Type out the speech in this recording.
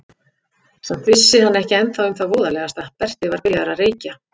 Samt vissi hann ekki ennþá um það voðalegasta: Berti var byrjaður að reykja.